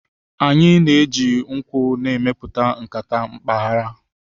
Anyị na-eji nkwụ na-emepụta nkata mpaghara.